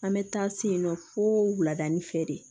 An bɛ taa se yen nɔ fo wuladani fɛ de